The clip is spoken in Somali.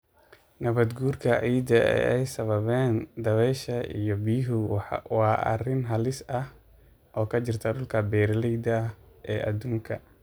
Nabaadguurka ciidda ee ay sababaan dabaysha iyo biyuhu waa arrin halis ah oo ka jirta dhulka beeralayda ah ee adduunka.